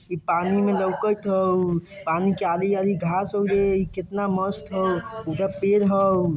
इ पानी में लौकेत हाउ पानी के आगी-आगी घास होगे इ कितना मस्त हाउ उधर पेड़ हाउ।